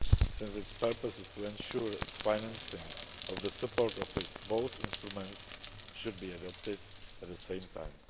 Since its purpose is to ensure its financing of the Support Office, both instruments should be adopted at the same time.